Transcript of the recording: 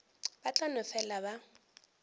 ba tla no fela ba